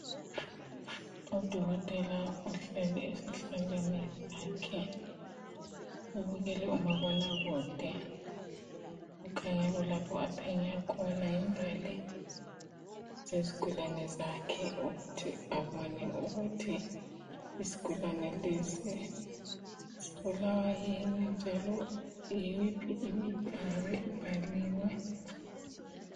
Udokotela uhleli esihlalweni sakhe ubukele umabonakude kukhanya kulapho aphenya khona imbali zesigulane zakhe ukuthi abone ukuthi isigulane lesi sibulawa yini njalo yiyiphi imithi engabe ibhaliwe.